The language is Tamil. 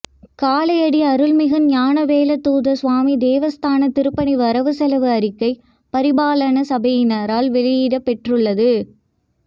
காலையடி அருள்மிகு ஞானவேலாதுத சுவாமி தேவஸ்தான திருப்பணி வரவு செலவு அறிக்கை பரிபாலன சபையினரால் வெளியிடப்பெற்றுள்ளது